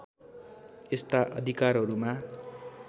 यस्ता अधिकारहरूमा